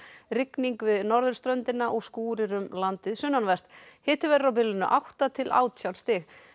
rigning við norðurströndina og skúrir um landið sunnanvert hiti verður á bilinu átta til átján stig